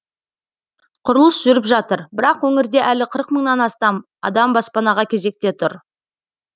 құрылыс жүріп жатыр бірақ өңірде әлі қырық мыңнан астам адам баспанаға кезекте тұр